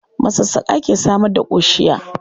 Masassƙa ke samar da ƙoshiya.